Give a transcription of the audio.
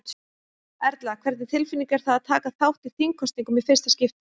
Erla: Hvernig tilfinning er það að taka þátt í þingkosningum í fyrsta skipti?